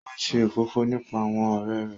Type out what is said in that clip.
O n ṣe òfófó nípa àwọn ọrẹ rẹ